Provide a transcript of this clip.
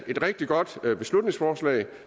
et rigtig godt beslutningsforslag